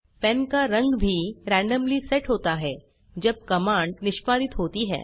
pen का रंग भी रेन्डम्ली सेट होता है जब कमांड निष्पादित होती है